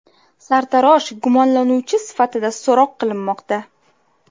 Sartarosh gumonlanuvchi sifatida so‘roq qilinmoqda.